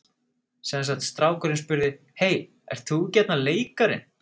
Sem sagt strákurinn spurði: Hey, ert þú ekki þarna leikarinn?